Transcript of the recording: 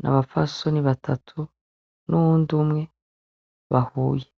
Nabapfasoni batatu , n’uwundi umwe bahuye.